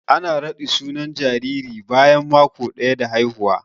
Ana raɗi sunan jariri bayan mako daya da haihuwa.